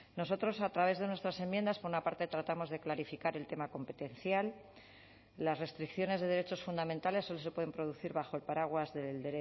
nosotros a través de nuestras enmiendas por una parte tratamos de clarificar el tema competencial las restricciones de derechos fundamentales solo se pueden producir bajo el paraguas del